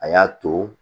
A y'a to